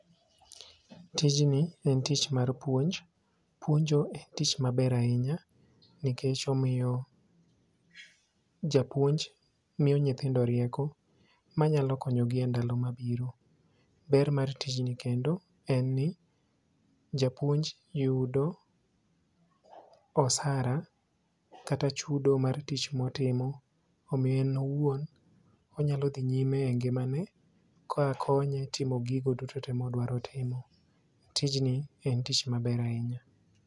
Tijni en tich mar puonj ,puonjo en tich maber ahinya nikech omiyo japuonj miyo nyithindo rieko manyalo konyogi e ndalo mabiro. Ber mar tich ni kendo en ni japuonj yudo osara kata chudo mar tich motimo omiyo en owuon onyalo dhi nyime e ngimane ka konye timo gigo duto te modwaro timo. Tijni en tich maber ahinya.